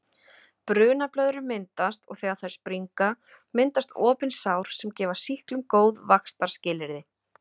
Brunablöðrur myndast og þegar þær springa myndast opin sár sem gefa sýklum góð vaxtarskilyrði.